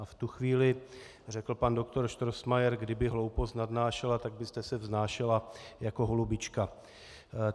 A v tu chvíli řekl pan doktor Strossmayer: Kdyby hloupost nadnášela, tak byste se vznášela jako holubička.